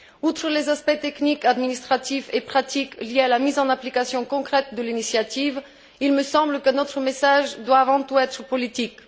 Outre les aspects techniques, administratifs et pratiques liés à la mise en application concrète de l'initiative, il me semble que notre message doit, avant tout, être politique.